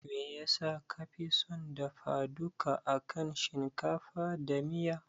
Me yasa kafi son dafa duka akan shinkafa da miya?